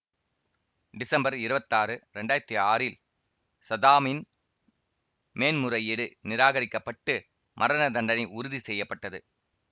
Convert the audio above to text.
December இருவத்தாறு இரண்டாயிரத்தி ஆறில் சதாமின் மேன்முறையீடு நிராகரிக்கப்பட்டு மரணதண்டனை உறுதி செய்ய பட்டது